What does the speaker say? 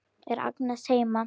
Er Agnes heima?